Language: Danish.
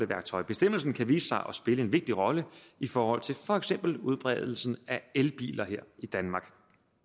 værktøj bestemmelsen kan vise sig at spille en vigtig rolle i forhold til for eksempel udbredelsen af elbiler her i danmark